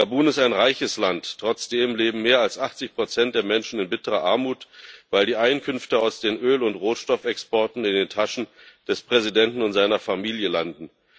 Gabun ist ein reiches Land, trotzdem leben mehr als 80 der Menschen in bitterer Armut, weil die Einkünfte aus den Öl und Rohstoffexporten in den Taschen des Präsidenten und seiner Familie landen.